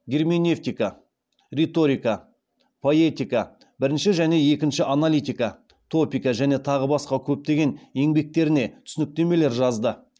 герменевтика риторика поэтика бірінші және екінші аналитика топика және тағы да басқа көптеген еңбектеріне түсініктемелер жазды